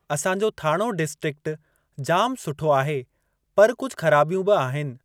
असांजो थाणो डिस्ट्रिक जाम सुठो आहे पर कुझु ख़राबियूं बि आहिनि।